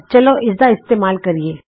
ਚਲੋ ਇਸਦਾ ਇਸਤੇਮਾਲ ਕਰੀਏ